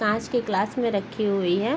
कांच के ग्लास में रखी हुई है।